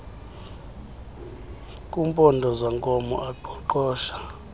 kumpondo zankomo aqoqosha